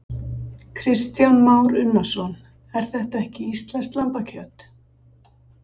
Kristján Már Unnarsson: En þetta er ekki íslenskt lambakjöt?